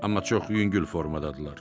Amma çox yüngül formadadırlar.